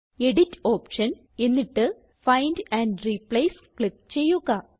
edit option എന്നിട്ട് find and replace click ചെയ്യുക